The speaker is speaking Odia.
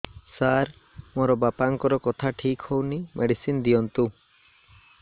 ସାର ମୋର ବାପାଙ୍କର କଥା ଠିକ ହଉନି ମେଡିସିନ ଦିଅନ୍ତୁ